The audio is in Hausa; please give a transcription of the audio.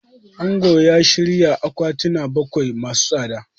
Angon ya shirya akwatina bakwai masu tsada.